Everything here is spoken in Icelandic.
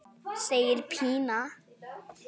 segir Pína.